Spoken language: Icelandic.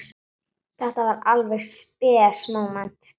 Þetta var alveg spes móment.